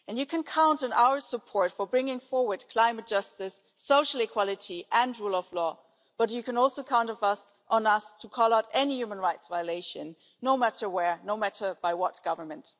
You can count on our support for bringing forward climate justice, social equality and rule of law, but you can also count on us to call out any human rights violation, no matter where, no matter by what government.